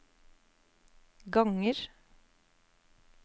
ganger